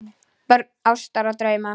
Börn ástar og drauma